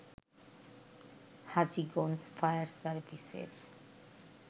Hajiganj fire সার্ভিসের